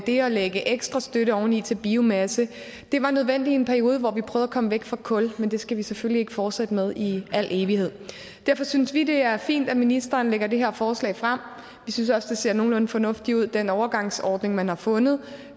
det at lægge ekstra støtte oveni til biomasse var nødvendigt i en periode hvor vi prøvede at komme væk fra kul men det skal vi selvfølgelig ikke fortsætte med i al evighed derfor synes vi det er fint at ministeren lægger det her forslag frem vi synes også det ser nogenlunde fornuftigt ud med den overgangsordning man har fundet